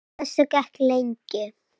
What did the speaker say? Á þessu gekk lengi.